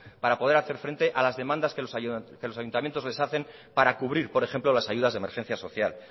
para poder hacer frente a las demandas que los ayuntamientos les hacen para cubrir por ejemplo las ayudas de emergencia social